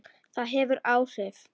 Það hefur áhrif.